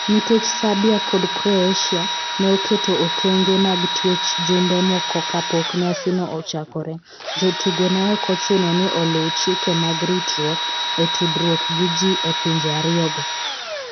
Nikech Serbia kod Croatia ne oketo okenge mag twech jumbe moko kapok nyasino ochakore, jotugo ne ok ochuno ni oluw chike mag ritruok e tudruok gi ji e pinje ariyogo.